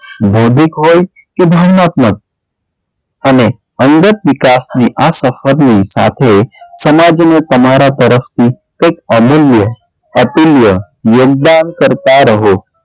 ભોતિક હોય કે ગુણાત્મક અને અંગત વિકાસની આ સપથની સાથે સમાજને તમારાં તરફથી કઈક અમુલ્ય, અતુલ્ય યોગદાન કરતાં રહો.